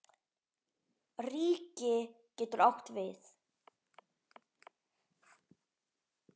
Ríki getur átt við